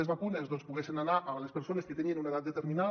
les vacunes poguessin anar a les persones que tenien una edat determinada